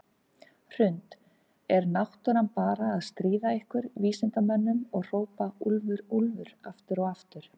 Hrund: Er náttúran bara að stríða ykkur vísindamönnunum og hrópa úlfur, úlfur aftur og aftur?